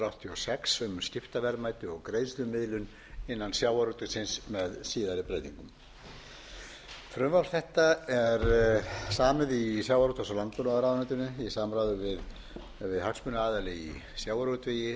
sex um skiptaverðmæti og greiðslumiðlun innan sjávarútvegsins frumvarp þetta er samið í sjávarútvegs og landbúnaðarráðuneytinu í samráði við hagsmunaaðila í sjávarútvegi